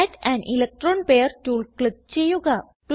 add an electron pair tool click ചെയ്യുക